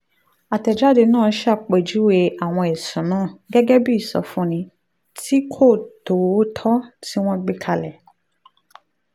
àtẹ̀jáde náà ṣàpèjúwe àwọn ẹ̀sùn náà gẹ́gẹ́ bí ìsọfúnni tí kò tòótọ́ tí wọ́n gbé kalẹ̀